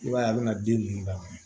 I b'a ye a bɛna den ninnu da